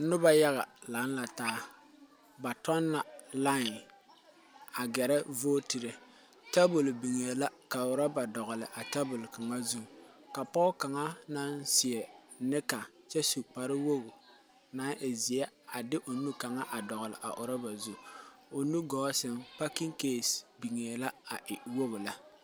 Nuba yaga lang la taa ba tun la line a gerɛ vootire tabol bengɛɛ la ka ruba dɔgli a tabol kanga zu ka poɔ kanga nang seɛ nika kye su kpare wogi nang e zei a de a ɔ nu kanga a doɔle ruba zu ɔ nu gɔɔ sen pakin case bingɛɛ la a e wɔgi le.